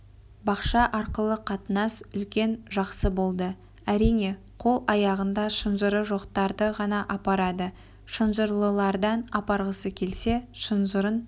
бақша арқылы қатынас үлкен жақсы болды әрине қол-аяғында шынжыры жоқтарды ғана апарады шынжырлылардан апарғысы келсе шынжырын